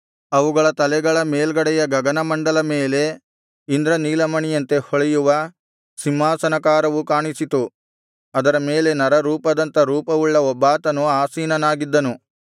ಅವುಗಳ ತಲೆಗಳ ಮೇಲ್ಗಡೆಯ ಗಗನಮಂಡಲ ಮೇಲೆ ಇಂದ್ರನೀಲಮಣಿಯಂತೆ ಹೊಳೆಯುವ ಸಿಂಹಾಸನಾಕಾರವು ಕಾಣಿಸಿತು ಅದರ ಮೇಲೆ ನರರೂಪದಂಥ ರೂಪವುಳ್ಳ ಒಬ್ಬಾತನು ಆಸೀನನಾಗಿದ್ದನು